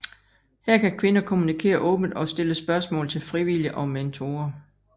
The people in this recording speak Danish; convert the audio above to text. Her kan kvinder kommunikere åbent og stille spørgsmål til frivillige og mentorer